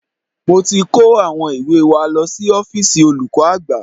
Mo ti kó àwọn ìwé wa lọ sí ọ́fíìsì olùkọ́ àgbà